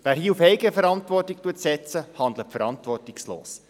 Wer hier auf Eigenverantwortung setzt, handelt verantwortungslos.